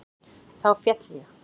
Þá féll ég.